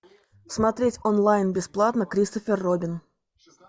смотреть онлайн бесплатно кристофер робин